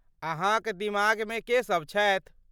अहाँक दिमागमे के सभ छथि?